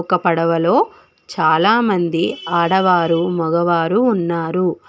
ఒక పడవలో చాలా మంది ఆడవారు మగవారు ఉన్నారు